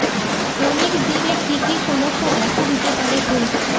ফণীর জেরে কী কী সমস্যা দেখা দিতে পারে কলকাতায়